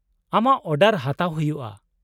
-ᱟᱢᱟᱜ ᱚᱰᱟᱨ ᱦᱟᱛᱟᱣ ᱦᱩᱭᱩᱜᱼᱟ ᱾